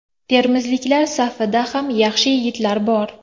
Termizliklar safida ham yaxshi yigitlar bor.